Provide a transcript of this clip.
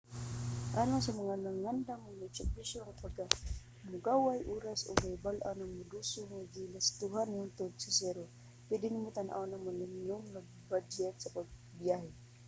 alang sa mga andam nga isakripisyo ang kahamugaway oras ug kahibal-an nga maduso ang mga galastohan hangtod sa zero pwede nimo tan-awon ang minimum nga badyet sa pagbiyahe